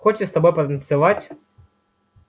хочет с тобой потанцевать